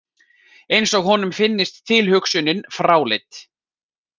Eins og honum finnist tilhugsunin fráleit.